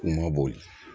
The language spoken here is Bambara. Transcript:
K'u ma boli